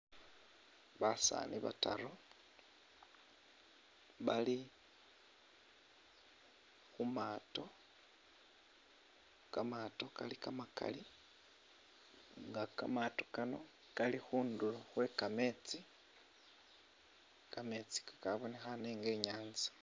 Basani bataru bali khumaato kamaato kali kamakali nga kamaato kano kali khudulo khwekameetsi kameetsi kakamonekhane inga inyatsa.